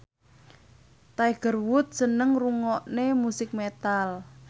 Tiger Wood seneng ngrungokne musik metal